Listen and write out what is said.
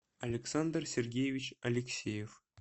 александр сергеевич алексеев